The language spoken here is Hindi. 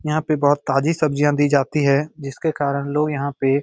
यहां पे बहोत ताजी सब्जियां दी जाती है जिसके कारण लोग यहां पे --